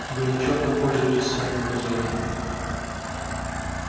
вы нечётно пользуетесь своим положением